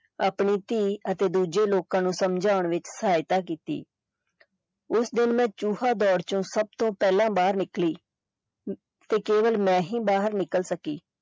ਆਪਣੀ ਧੀ ਅਤੇ ਦੂਜੇ ਲੋਕਾਂ ਨੂੰ ਸਮਝਾਉਣ ਵਿੱਚ ਸਹਾਇਤਾ ਕੀਤੀ ਉਸ ਦਿਨ ਮੈਂ ਚੂਹਾ ਦੌੜ ਚੋਂ ਸਬ ਤੋਂ ਪਹਿਲਾਂ ਬਾਹਰ ਨਿਕਲੀ ਤੇ ਕੇਵਲ ਮੈਂ ਹੀ ਬਾਹਰ ਨਿਕਲ ਸਕੀ।